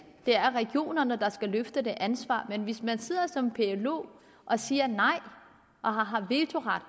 det er regionerne der skal løfte ansvaret men hvis man sidder som plo og siger nej og har vetoret